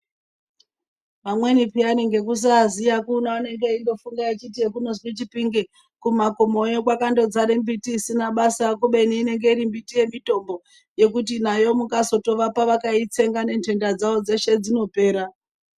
Amweni peyani ngekusaziya kuno anenge eindofunga achiti zvekunozwi chipinge kumakomoyo kwakandozare mbiti isina basa. Kubeni inenge iri mbiti yemitimbo yekuti nayo mukazotovapa vakaitsenga nenhenda dzavo dzeshe dzinopera.